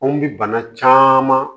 Anw bi bana caman